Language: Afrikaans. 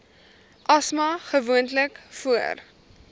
asma gewoonlik voor